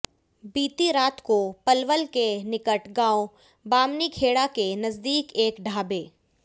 बीती रात को पलवल के निकट गांव बामनीखेडा के नजदीक एक ढाबे